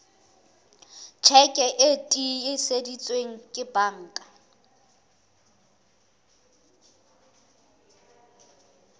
tjheke e tiiseditsweng ke banka